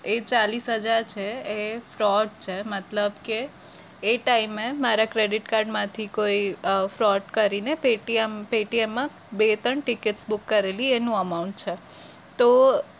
એ ચાલીશ હજાર છે એ fraud છે મતલબ કે એ time એ મારા credit card માંથી કોઈ fraud કરીને paytm paytm માં બે ત્રણ ticket book કરેલી એનું amount છે તો